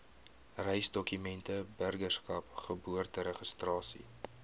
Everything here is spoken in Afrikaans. reisdokumente burgerskap geboorteregistrasie